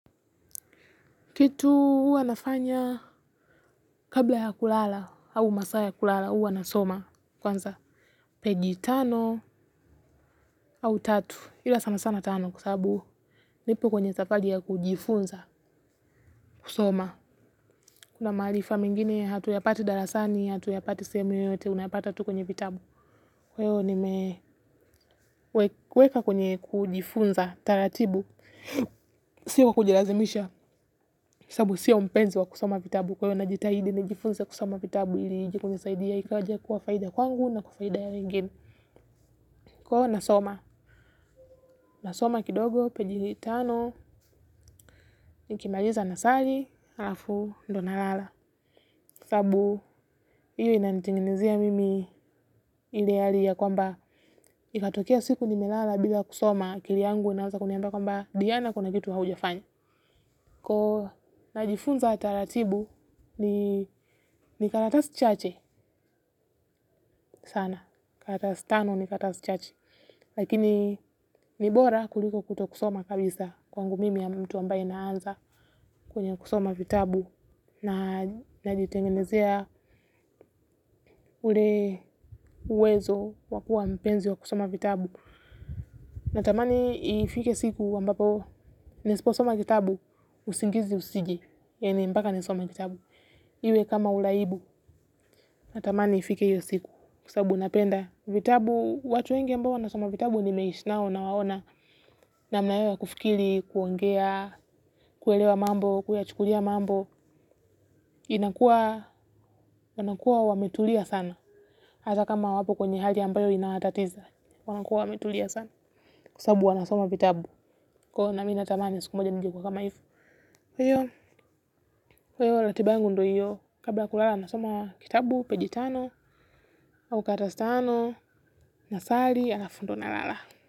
Kitu huwa nafanya kabla ya kulala au masaa ya kulala huwa nasoma kwanza page tano au tatu ila sana sana tano kwa sababu nipo kwenye safari ya kujifunza kusoma kuna maarifa mingine hatuyapati darasani hatuyapati sehemu yoyote unapata tu kwenye vitabu kwa hiyo nime weka kwenye kujifunza taratibu sio kujilazimisha kwa sababu sio mpenzi wa kusoma vitabu kwa hiyo najitahidi nijifunze kusoma vitabu il ije kunisaidia ikaja kuwa faida kwangu na kwa faida ya wengine. Ko nasoma, nasoma kidogo page tano, nikimaliza nasali, alafu, ndo nalala. Sabu, iyo inatingenizia mimi ile hali ya kwamba, ikatokea siku nimelala bila kusoma, akili yangu inaanza kuniamba kwamba, diyana kuna kitu haujafanya. Ko najifunza taratibu ni ni karatasi chache sana. Karatasi tano ni karatasi chache. Lakini, ni bora kuliko kutokusoma kabisa kwangu mimi mtu ambaye naanza kwenye kusoma vitabu najitengenezea ule uwezo wakuwa mpenzi wa kusoma vitabu. Natamani ifike siku ambapo nisipo soma kitabu usingizi usije yani mpaka nisome kitabu. Iwe kama ulaibu, natamani ifike hiyo siku kwa sababu napenda. Vitabu, watu wengi ambao wanasoma vitabu nimeishi nao nawaona. Namn yao ya kufikiri, kuongea, kuelewa mambo, kuyachukulia mambo. Inakua, wanakua wametulia sana. Hata kama wapo kwenye hali ambayo inawatatiza. Wanakua wametulia sana kwa sababu wanasoma vitabu. Ko na mi natamani ya siku moja nijekuwa kama hivo hiyo, kwa hiyo ratiba yangu ndo iyo. Kabla ya kulala nasoma kitabu, page tano au karatasi tano, nasali, alafu ndo nalala.